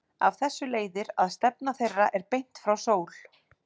Af þessu leiðir að stefna þeirra er beint frá sól.